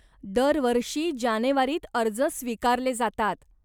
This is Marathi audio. दरवर्षी जानेवारीत अर्ज स्वीकारले जातात.